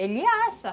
Ele assa.